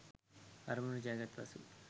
අරමුණ ජයගත් පසු